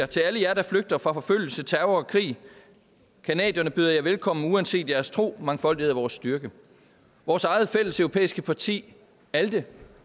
til alle jer der flygter fra forfølgelse terror og krig canadierne byder jer velkommen uanset jeres tro mangfoldighed er vores styrke vores eget fælleseuropæiske parti alde